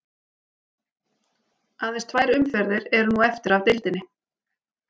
Aðeins tvær umferðir eru nú eftir af deildinni.